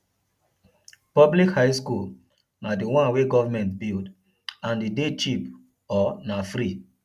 public high school na di one wey government build and e de cheap or na free